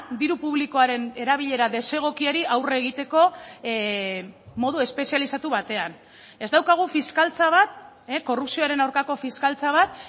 diru publikoaren erabilera desegokiari aurre egiteko modu espezializatu batean ez daukagu fiskaltza bat korrupzioaren aurkako fiskaltza bat